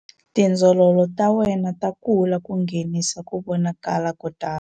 Tindzololo ta wena ta kula ku nghenisa ku vonakala ko tala.